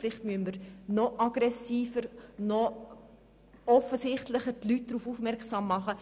Vielleicht muss man die Leute noch aggressiver und noch offensichtlicher darauf aufmerksam machen.